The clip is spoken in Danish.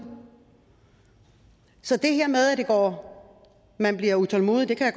så det her med at man bliver utålmodig kan